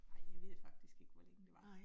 Nej jeg ved faktisk ikke, hvor længe det var